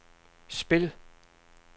spil